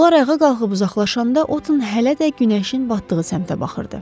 Onlar ayağa qalxıb uzaqlaşanda Otın hələ də günəşin batdığı səmtə baxırdı.